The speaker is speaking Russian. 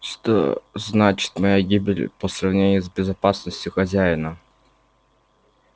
что значит моя гибель по сравнению с безопасностью хозяина